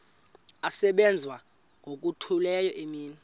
asebenza ngokokhutheleyo imini